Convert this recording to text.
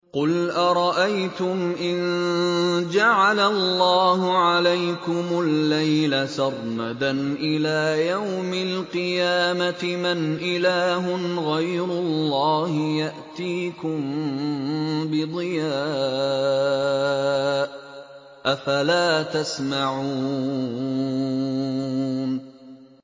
قُلْ أَرَأَيْتُمْ إِن جَعَلَ اللَّهُ عَلَيْكُمُ اللَّيْلَ سَرْمَدًا إِلَىٰ يَوْمِ الْقِيَامَةِ مَنْ إِلَٰهٌ غَيْرُ اللَّهِ يَأْتِيكُم بِضِيَاءٍ ۖ أَفَلَا تَسْمَعُونَ